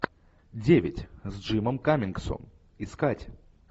девять с джимом каммингсом искать